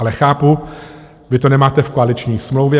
Ale chápu, vy to nemáte v koaliční smlouvě.